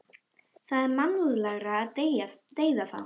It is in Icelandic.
Það er mannúðlegra að deyða þá.